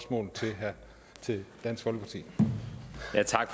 dansk folkeparti